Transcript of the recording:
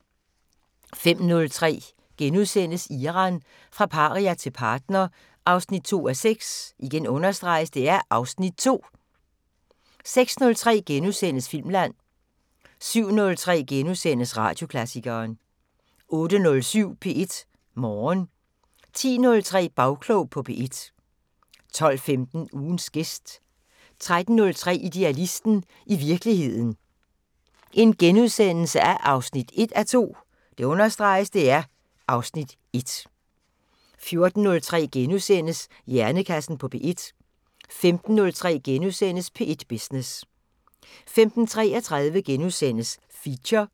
05:03: Iran – fra paria til partner 2:6 (Afs. 2)* 06:03: Filmland * 07:03: Radioklassikeren * 08:07: P1 Morgen 10:03: Bagklog på P1 12:15: Ugens gæst 13:03: Idealisten – i virkeligheden 1:2 (Afs. 1)* 14:03: Hjernekassen på P1 * 15:03: P1 Business * 15:33: Feature *